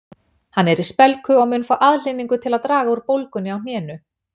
Hann er í spelku og mun fá aðhlynningu til að draga úr bólgunni á hnénu